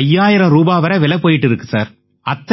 5000 வரை விலை போயிட்டு இருக்கு சார்